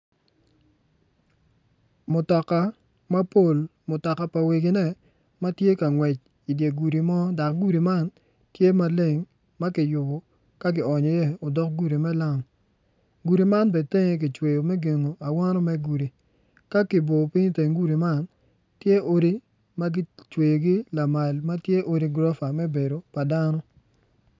Mutoka mapol mutoka pa wegine ma tye ka ngwec i dye gudi mo dok gudi man tye maleng ma kionyo iye odk gudi me lam gudi man bene tenge tye me gengo awano me gudi.